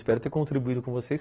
Espero ter contribuído com vocês.